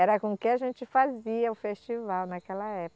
Era com o que a gente fazia o festival naquela época.